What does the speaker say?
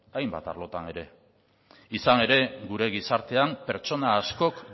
hainbat arlotan ere izan ere gure gizartean pertsona askok